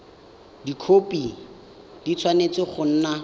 dikhopi di tshwanetse go nna